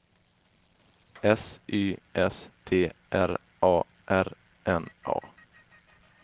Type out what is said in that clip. S Y S T R A R N A